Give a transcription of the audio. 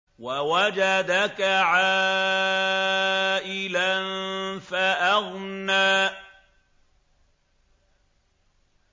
وَوَجَدَكَ عَائِلًا فَأَغْنَىٰ